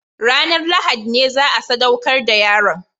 Ranar Lahadi ne za a sadaukar da yaron